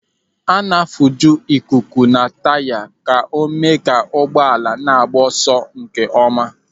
A na-afuju ikuku na taya ka o mee ka ụgbọala na-agba ọsọ nkeọma.